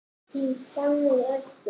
Þín Fanney Erla.